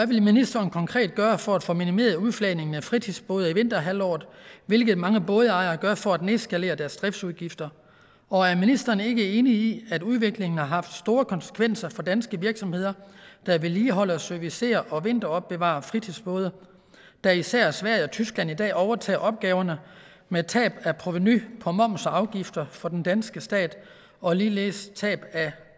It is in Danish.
ministeren konkret gøre for at få minimeret udflagning af fritidsbåde i vinterhalvåret hvilket mange bådejere gør for at nedskalere deres driftsudgifter og er ministeren ikke enig i at udviklingen har haft store konsekvenser for danske virksomheder der vedligeholder servicerer og vinteropbevarer fritidsbåde da især sverige og tyskland i dag overtager opgaverne med tab af provenu på moms og afgifter for den danske stat og ligeledes tab af